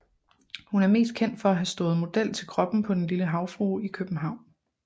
Hun er mest kendt for at have stået model til kroppen på Den lille Havfrue i København